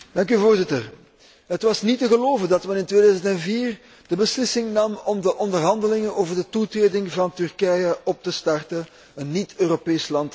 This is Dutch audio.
Het was niet te geloven dat men in 2004 de beslissing nam om de onderhandelingen over de toetreding van Turkije op te starten, een niet Europees land als Turkije.